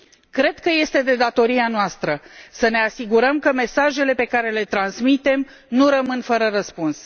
Cred că este de datoria noastră să ne asigurăm că mesajele pe care le transmitem nu rămân fără răspuns.